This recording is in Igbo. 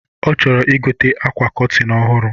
Ọ chọrọ ịgote akwa cọtịn ọhụrụ